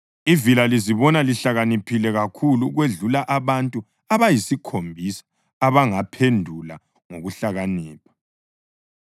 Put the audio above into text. Ivila lizibona lihlakaniphile kakhulu okwedlula abantu abayisikhombisa abangaphendula ngokuhlakanipha.